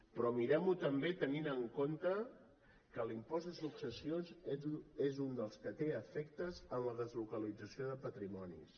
però mirem ho també tenint en compte que l’impost de successions és un dels que té efectes en la deslocalització de patrimonis